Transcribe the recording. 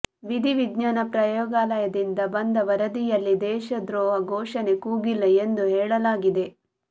ವಿಧಿವಿಜ್ಞಾನ ಪ್ರಯೋಗಾಲಯದಿಂದ ಬಂದ ವರದಿಯಲ್ಲಿ ದೇಶದ್ರೋಹ ಘೋಷಣೆ ಕೂಗಿಲ್ಲ ಎಂದು ಹೇಳಲಾಗಿದೆ